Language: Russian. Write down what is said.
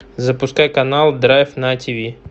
запускай канал драйв на тв